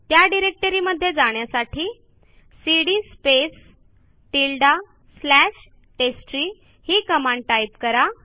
त्या डिरेक्टरीमध्ये जाण्यासाठी cd space tilde slash test tree ही कमांड टाईप करा